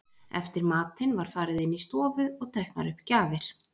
Eftir matinn var farið inn í stofu og teknar upp gjafir.